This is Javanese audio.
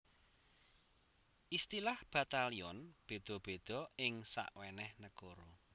Istilah batalyon béda béda ing sawenèh nagara